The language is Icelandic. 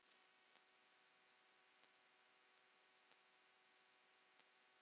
Hver ætli það sé?